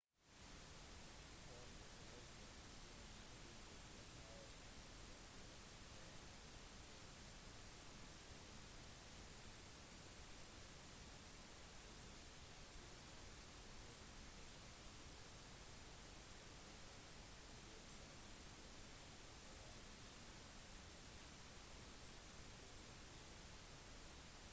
for de fleste nasjoner vil du behøve et tilbudsbrev fra institusjonen du har lyst til å studere ved i tillegg til bevis på midler som viser at du kan forsørge deg selv i hvert fall gjennom det 1. året av kurset ditt